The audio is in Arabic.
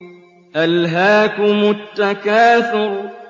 أَلْهَاكُمُ التَّكَاثُرُ